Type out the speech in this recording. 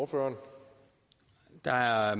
for der er